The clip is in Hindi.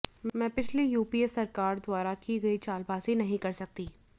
मैं पिछली यूपीए सरकार द्वारा की गई चालबाज़ी नहीं कर सकती